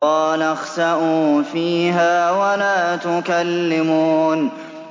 قَالَ اخْسَئُوا فِيهَا وَلَا تُكَلِّمُونِ